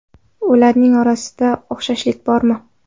Ularning orasida o‘xshashlik bormi?